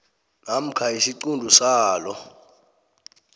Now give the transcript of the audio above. namkha isiquntu salo